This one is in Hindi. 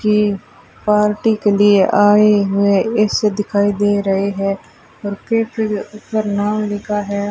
ये पार्टी के लिए आए हुए ऐसे दिखाई दे रहे हैं और केक ऊपर नाम लिखा है।